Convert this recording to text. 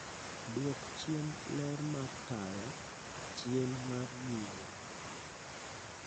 Dwok chien ler mar taya chien mar nyime